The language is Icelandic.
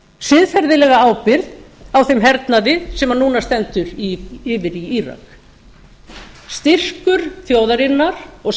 siðferðilega ábyrgð á þeim hernaði sem núna stendur yfir í írak þjóðarinnar og